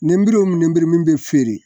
Nenburu min nemburu den min ni bɛ feereere